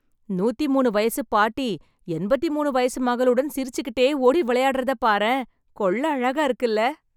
நூத்திமூனு வயசு பாட்டி, எண்பத்து மூனு வயசு மகளுடன் சிரிச்சுகிட்டே ஓடி விளையாடறத பாரேன்... கொள்ளை அழகா இருக்குல்ல..